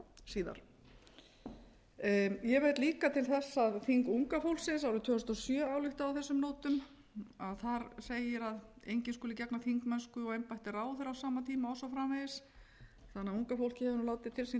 síðar ég vil líka til þess að þing unga fólksins árið tvö þúsund og sjö ályktaði á þessum nótum þar segir að enginn skuli gegna þingmennsku og embætti ráðherra á sama tíma og svo framvegis þannig að unga fólkið hefur nú látið til sín taka í